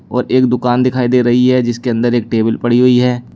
और एक दुकान दिखाई दे रही है जिसके अंदर एक टेबल पड़ी हुई है।